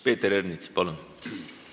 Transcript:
Peeter Ernits, palun!